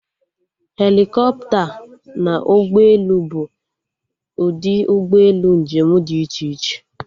Helikọpta na ụgbọelu bụ ụdị ụgbọelu njem dị iche iche